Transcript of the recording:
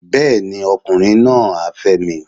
Bẹ́ẹ̀ni, ọkùnrin náà á fẹ́ mi